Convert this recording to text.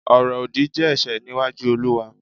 oro odi je ẹ̀ṣẹ̀ níwájú Oluwa